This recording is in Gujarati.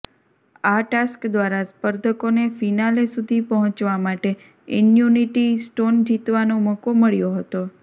આ ટાસ્ક દ્વારા સ્પર્ધકોને ફિનાલે સુધી પહોંચવા માટે ઇન્યુનિટી સ્ટોન જીતવાનો મોકો મળ્યો હતો